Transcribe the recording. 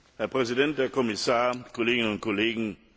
Herr Präsident, Herr Kommissar, Kolleginnen und Kollegen!